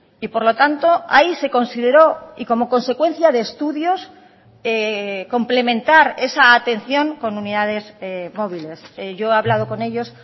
y por lo tanto ahí se consideró y como consecuencia de estudios complementar esa atención con unidades móviles yo he hablado con ellos